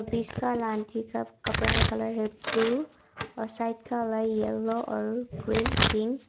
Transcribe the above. कपड़ा का कलर है ब्लू और साइड वाला का येलो और ग्रीन पिक ।